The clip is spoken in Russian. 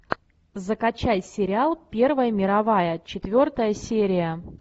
закачай сериал первая мировая четвертая серия